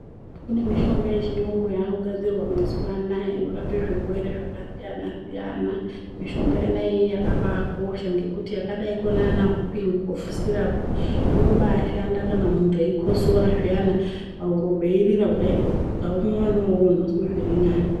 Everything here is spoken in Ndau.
Kune mishonga yechiyungu yakugadzirwa mazuva anaaya inorape zvirwere zvakasiyana siyana. Mishonga yona iyii yakabaakosha ngekuti yakadai konaana hupin'i kofu sirapu inobaashanda kana munhu eikotsora zviyana pahuro peirira kudai oo ukaumwa wona iwowo unozwe zviri nane.